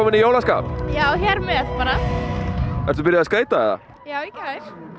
í jólaskap já hér með bara ertu byrjuð að skreyta já í gær